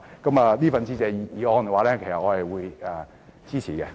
就這項致謝議案，我會表示支持。